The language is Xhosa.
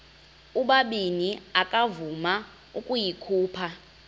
ubabini akavuma ukuyikhupha